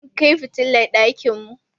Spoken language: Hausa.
Mun kai fitilar ɗakin mu.